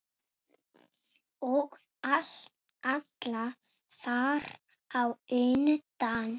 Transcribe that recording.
Og alla þar á undan.